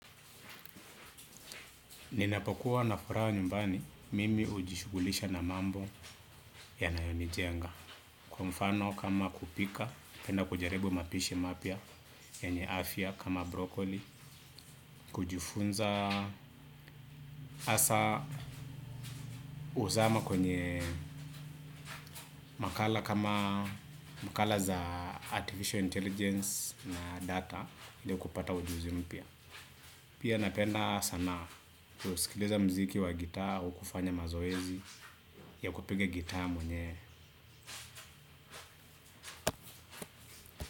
Ninapokuwa na furaha nyumbani, mimi ujishugulisha na mambo yanayonijenga. Kwa mfano kama kupika, penda kujaribu mapishi mapya, yenye afya kama brokoli, kujifunza asa huzama kwenye makala kama, makala za artificial intelligence na data, ili kupata ujuzi mpya. Pia napenda sanaa kusikiliza mziki wa gitaa, au kufanya mazoezi, ya kupiga gitaa mwenyewe.